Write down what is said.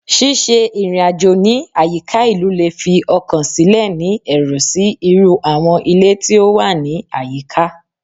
Ṣiṣe irin-ajo ni ayika ilu le fi ọkan silẹ ni ẹru si iru awọn ile ti o wa ni ayika